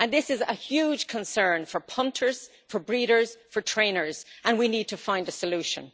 This is a huge concern for punters, for breeders, for trainers, and we need to find a solution.